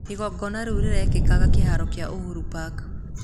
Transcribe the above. Igongona rĩu rĩgekika kĩhaaro kĩa Uhuru Park